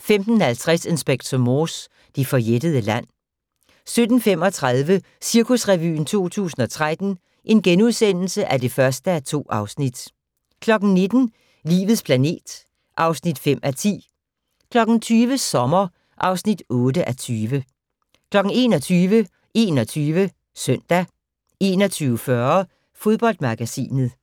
15:50: Inspector Morse: Det forjættede land 17:35: Cirkusrevyen 2013 (1:2)* 19:00: Livets planet (5:10) 20:00: Sommer (8:20) 21:00: 21 Søndag 21:40: Fodboldmagasinet